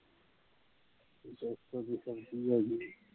ਦਸ ਕਦੇ ਕੰਮ ਦੀ ਕਮੀ ਹੋਈ